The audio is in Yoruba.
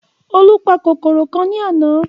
Olú pa kòkòrò kan ní àná